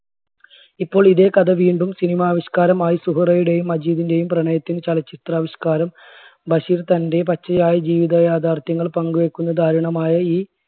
ഇപ്പോൾ ഇതേ കഥ വീണ്ടും cinema ആവിഷ്കാരമായി സുഹറയുടെയും മജീദിന്റെയും പ്രണയത്തിൻറെ ചലച്ചിത്ര ആവിഷ്കാരം ബഷീർ തന്റെ പച്ചയായ ജീവിതയാഥാർത്ഥ്യങ്ങൾ പങ്കുവെക്കുന്ന ദാരുണമായ ഈ